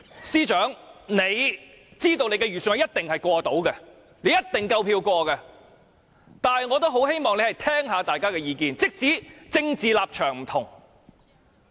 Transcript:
司長知道其預算案一定夠票通過，但我也很希望他能聆聽大家的意見，即使大家政治立場不同。